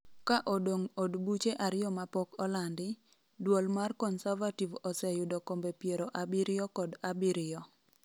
ka odong' od buche ariyo mapok olandi, duol mar Coservative oseyudo kombe piero abiriyo kod abiriyo